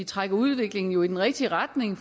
trækker udviklingen jo i den rigtige retning